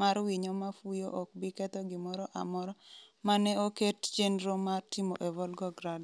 mar winyo ma fuyo ok bi ketho gimoro amora ma ne oket chenro mar timo e Volgograd.”